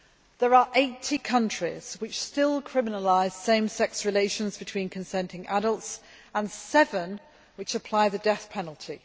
There are 80 countries which still criminalise same sex relations between consenting adults, and seven which apply the death penalty.